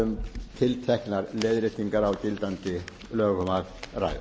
um tilteknar leiðréttingar á gildandi lögum að